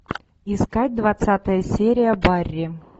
искать двадцатая серия барри